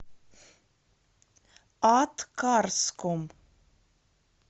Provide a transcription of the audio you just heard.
аткарском